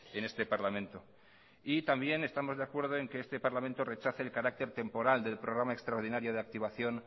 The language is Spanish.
en este parlamento y también estamos de acuerdo en que este parlamento rechace el carácter temporal del programa extraordinario de activación